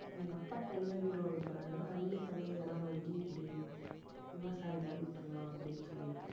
எங்க அப்பா தனியா வீடு வாங்க போறாரு அண்ணன் தனியா இடம் வாங்கி இப்படி விவசாயம் மாதிரி பண்ணலாம் அப்படின்னு சொல்லிருக்கான்.